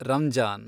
Ramzan